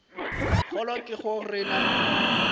kgolo ke go re na